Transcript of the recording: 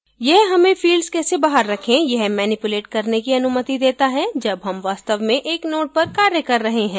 यह हमें fields कैसे बाहर रखें यह manipulate करने की अनुमति देता है जब हम वास्तव में एक node पर कार्य कर रहे हैं